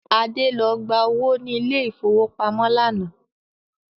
Adé lọ gba owó ni ilẹ̀ ìfowópamọ́ lánàá